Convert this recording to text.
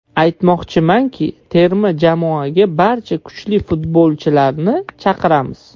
Aytmoqchimanki, terma jamoaga barcha kuchli futbolchilarni chaqiramiz.